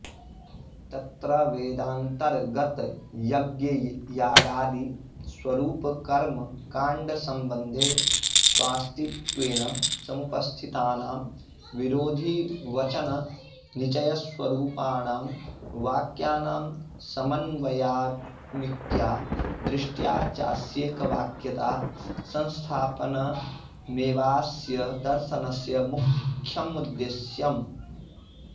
तत्र वेदान्तर्गतयज्ञयागादिस्वरूपकर्मकाण्डसम्बन्धे स्वास्तित्वेन समुपस्थि तानां विरोधिवचननिचयस्वरूपाणां वाक्यानां समन्वयात्मिक्या दृष्ट्या चास्येक वाक्यता संस्थापनमेवाऽस्य दर्शनस्य मुख्यमुद्देश्यम्